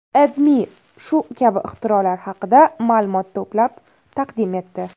AdMe shu kabi ixtirolar haqida ma’lumot to‘plab taqdim etdi.